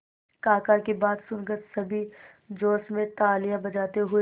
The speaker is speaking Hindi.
काका की बात सुनकर सभी जोश में तालियां बजाते हुए